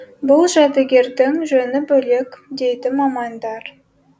бұл жәдігердің жөні бөлек дейді мамандар